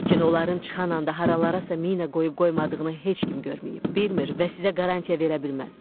Lakin onların çıxan anda haralarasa mina qoyub-qoymadığını heç kim görməyib, bilmir və sizə qarantya verə bilməz.